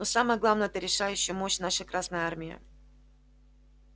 но самое главное это решающая мощь нашей красной армии